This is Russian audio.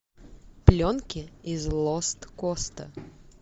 пленки из лост коста